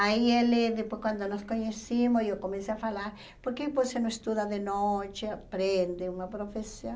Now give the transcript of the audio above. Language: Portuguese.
Aí ele, depois quando nos conhecíamos, eu comecei a falar, por que você não estuda de noite, aprende uma profissão?